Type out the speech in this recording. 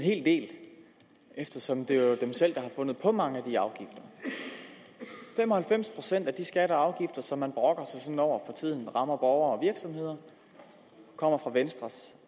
hel del eftersom det jo er dem selv der har fundet på mange af de afgifter fem og halvfems procent af de skatter og afgifter som man brokker sig sådan over for tiden rammer borgere og virksomheder kommer fra venstres